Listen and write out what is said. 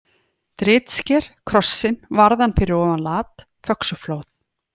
Dritsker, Krossinn, Varðan fyrir ofan Lat, Föxuflóð